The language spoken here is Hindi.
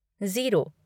ज़ीरो